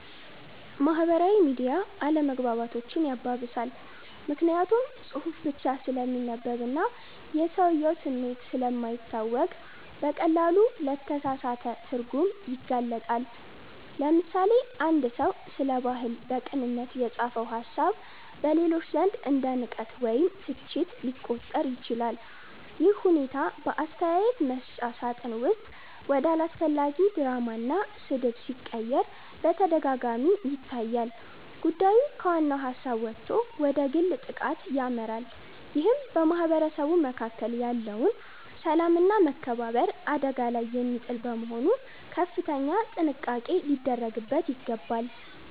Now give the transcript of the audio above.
ማህበራዊ ሚዲያ አለመግባባቶችን ያባብሳል። ምክንያቱም ጽሁፍ ብቻ ስለሚነበብና የሰውየው ስሜት ስለማይታወቅ በቀላሉ ለተሳሳተ ትርጉም ይጋለጣል። ለምሳሌ፣ አንድ ሰው ስለ ባህል በቅንነት የጻፈው ሃሳብ በሌሎች ዘንድ እንደ ንቀት ወይም ትችት ሊቆጠር ይችላል። ይህ ሁኔታ በአስተያየት መስጫ ሳጥን ውስጥ ወደ አላስፈላጊ ድራማና ስድብ ሲቀየር በተደጋጋሚ ይታያል። ጉዳዩ ከዋናው ሃሳብ ወጥቶ ወደ ግል ጥቃት ያመራል ይህም በማህበረሰቡ መካከል ያለውን ሰላምና መከባበር አደጋ ላይ የሚጥል በመሆኑ ከፍተኛ ጥንቃቄ ሊደረግበት ይገባል።